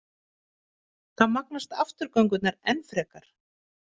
Þá magnast afturgöngurnar enn frekar.